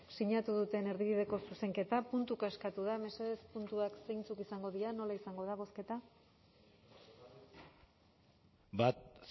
sinatu duten erdibideko zuzenketa puntuka eskatu da mesedez puntuak zeintzuk izango diren nola izango da bozketa bat